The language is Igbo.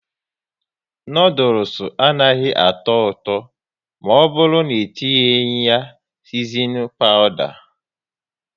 Noodules anaghị atọ ụtọ maọburu n'etinyi ya sisinin pawda